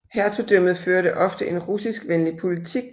Hertugdømmet førte ofte en russiskvenlig politik